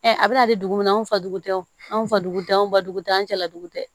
a bɛna di dugu min na an fa dugu tɛ wo anw fa dugu tɛ anw ba dugu tɛ an cɛla dugu tɛ